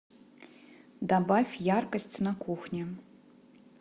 добавь яркость на кухне